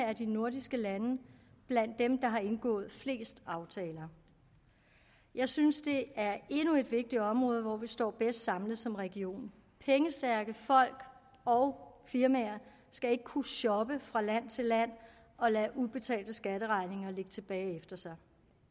er de nordiske lande blandt dem der har indgået flest aftaler jeg synes det er endnu et vigtigt område hvor vi står bedst samlet som region pengestærke folk og firmaer skal ikke kunne shoppe fra land til land og lade ubetalte skatteregninger ligge tilbage efter sig